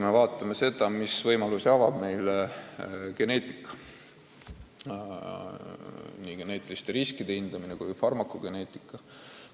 Aga vaatame, mis võimalusi avab meile geneetika – nii geneetiliste riskide hindamine kui ka farmakogeneetika!